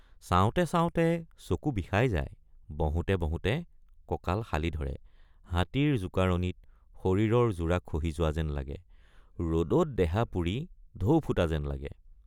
চাওঁতে চাওঁতে চকু বিষাই যায় বহোঁতে বহোঁতে কঁকাল শালি ধৰে হাতীৰ জোকাৰণিত শৰীৰৰ যোৰা খহি যোৱা যেন লাগে ৰদত দেহা পুৰি ঢৌ ফুটা যেন লাগে।